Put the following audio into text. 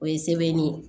O ye sɛbɛnni ye